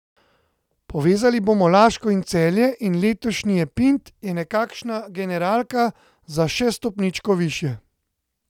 Povezali bomo Laško in Celje in letošnji Epint je nekakšna generalka za še stopničko višje.